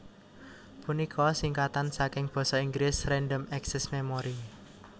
punika singkatan saking Basa Inggris Random Access Memory